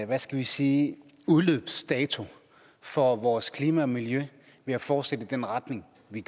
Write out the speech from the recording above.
hvad skal vi sige udløbsdato for vores klima og miljø ved at fortsætte i den retning vi